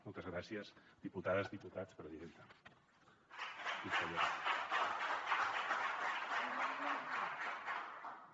moltes gràcies diputades i diputats presidenta consellera